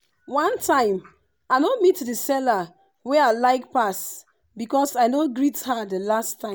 one time i no meet the seller wey i like pass because i no greet her the last time.